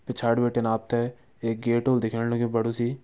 पिछड़ी बिटिन आपते एक गेट व्होलू दिखेण लग्यूं बडु सी।